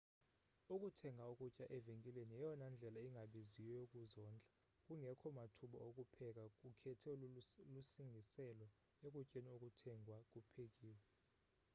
ukuthenga ukutya evenkileni yeyona ndlela ingabiziyo yokuzondla kungekho mathuba okupheka ukhetho lusingisele ekutyeni okuthengwa kuphekiw